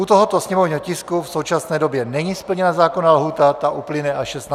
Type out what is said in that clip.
U tohoto sněmovního tisku v současné době není splněna zákonná lhůta, ta uplyne až 16. května.